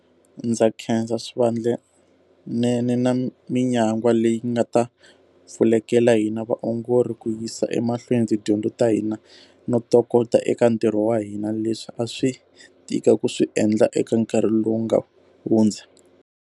Ndza khensa swivandlanene na minyangwa leyi nga ta pfulekela hina vaongori ku yisa emahlweni tidyondzo ta hina no tokota eka ntirho wa hina, leswi a swi tika ku swi endla eka nkarhi lowu nga hudza.